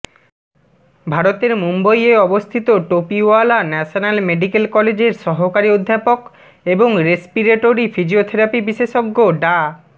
ভারতের মুম্বাইয়ে অবস্থিত টোপিওয়ালা ন্যাশনাল মেডিক্যাল কলেজের সহকারী অধ্যাপক এবং রেসপিরেটরি ফিজিওথেরাপি বিশেষজ্ঞ ডা